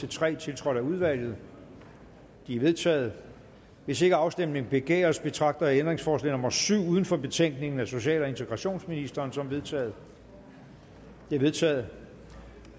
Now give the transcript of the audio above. tre tiltrådt af udvalget de er vedtaget hvis ikke afstemning begæres betragter jeg ændringsforslag nummer syv uden for betænkningen af social og integrationsministeren som vedtaget det er vedtaget